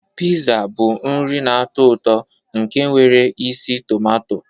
Piza bụ nri na-atọ ụtọ nke nwere isi tumato.